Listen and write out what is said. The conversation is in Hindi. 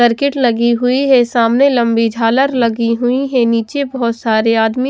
सर्किट लगी हुई है सामने लंबी झालर लगी हुई है नीचे बहुत सारे आदमी --